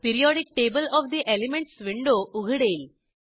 periodic table of the elements window उघडेल